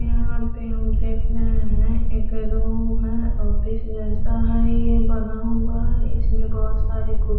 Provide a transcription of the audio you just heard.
यहाँ पे हम देख रहे है एक रूम है ऑफिस जैसा है ये बना हुआ है बहुत सारी कुर --